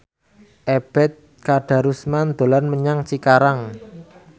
Ebet Kadarusman dolan menyang Cikarang